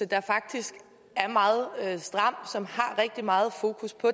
der faktisk er meget stram og rigtig meget fokus på